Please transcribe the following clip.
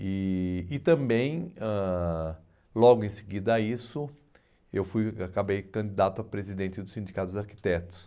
E e também ãh, logo em seguida a isso, eu fui eu acabei candidato a presidente do Sindicato dos Arquitetos.